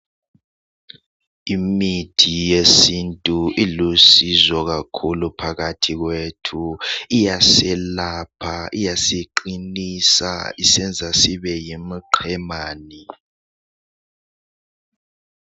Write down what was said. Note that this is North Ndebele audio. Imithi yesintu ilusizo kakhulu phakathi kwethu iyaselapha iyasiqinisa isenza sibe yimiqemani.